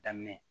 Daminɛ